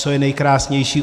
Co je nejkrásnější?